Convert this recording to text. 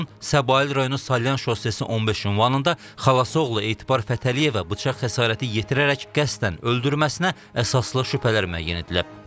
Onun Səbail rayonu Salyan şossesi 15 ünvanında xalası oğlu Etibar Fətəliyevə bıçaq xəsarəti yetirərək qəsdən öldürməsinə əsaslı şübhələr müəyyən edilib.